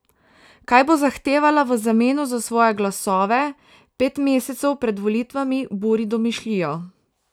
Kaj bo zahtevala v zameno za svoje glasove, pet mesecev pred volitvami buri domišljijo.